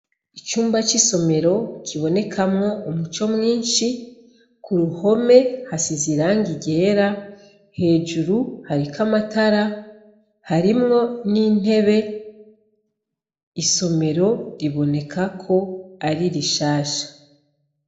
Icumba c'isomero kibonekamwo umuco mwinshi, ku ruhome hasize irangi ryera hejuru hariko amatara harimwo n'intebe isomero riboneka ko ari rishasha.